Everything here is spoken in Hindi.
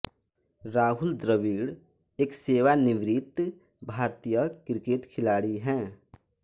राहुल द्रविड़ एक सेवानिवृत भारतीय क्रिकेट खिलाड़ी हैं